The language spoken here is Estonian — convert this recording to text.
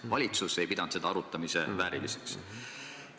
Valitsus ei pidanud seda arutamise vääriliseks.